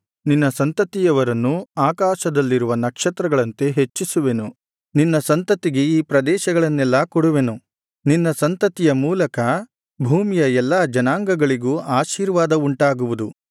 ನಿನ್ನ ಸಂತತಿಯವರನ್ನು ಆಕಾಶದಲ್ಲಿರುವ ನಕ್ಷತ್ರಗಳಂತೆ ಹೆಚ್ಚಿಸುವೆನು ನಿನ್ನ ಸಂತತಿಗೆ ಈ ಪ್ರದೇಶಗಳನ್ನೆಲ್ಲಾ ಕೊಡುವೆನು ನಿನ್ನ ಸಂತತಿಯ ಮೂಲಕ ಭೂಮಿಯ ಎಲ್ಲಾ ಜನಾಂಗಗಳಿಗೂ ಆಶೀರ್ವಾದವುಂಟಾಗುವುದು